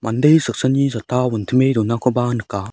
mande saksani satta wintime donakoba nika.